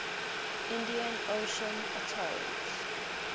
indian ocean atolls